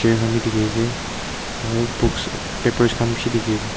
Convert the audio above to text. kan bi diki asae aro books papers kan bishi diki asae.